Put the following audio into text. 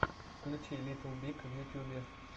включи литтл биг в ютюбе